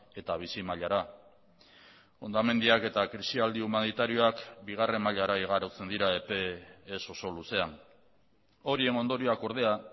eta bizimailara hondamendiak eta krisialdi humanitarioak bigarren mailara igarotzen dira epe ez oso luzean horien ondorioak ordea